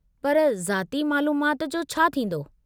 पर ज़ाती मालूमाति जो छा थींदो?